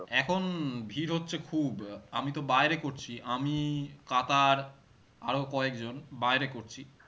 উম ভিড় হচ্ছে খুব আহ আমি তো বাইরে করছি আমি কাতার আরো কয়েকজন বাইরে করছি